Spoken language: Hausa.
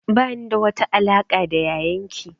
Ba ni da wata alaƙa da yayan ki